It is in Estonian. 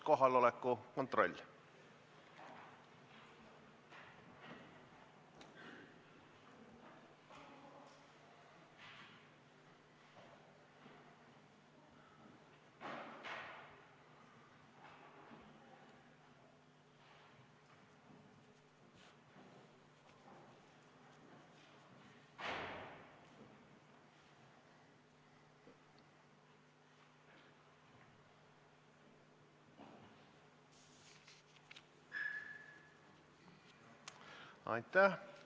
Kohaloleku kontroll Aitäh!